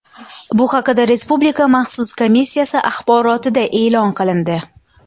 Bu haqida Respublika maxsus komissiyasi axborotida e’lon qilindi.